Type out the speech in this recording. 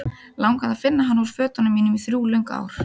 Langaði að finna hana úr fötunum mínum í þrjú löng ár.